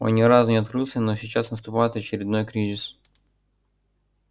он ни разу не открылся но сейчас наступает очередной кризис